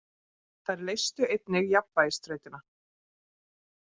Þær leystu einnig jafnvægisþrautina.